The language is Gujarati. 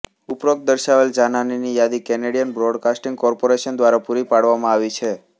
ઉપરોક્ત દર્શાવેલ જાનહાનિની યાદી કેનેડિયન બ્રોડકાસ્ટિંગ કોર્પોરેશન દ્વારા પૂરી પાડવામાં આવી છે